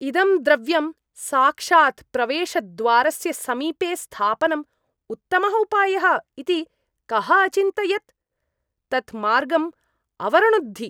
इदं द्रव्यं साक्षात् प्रवेशद्वारस्य समीपे स्थापनं उत्तमः उपायः इति कः अचिन्तयत्? तत् मार्गम् अवरुणद्धि।